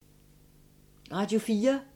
Radio 4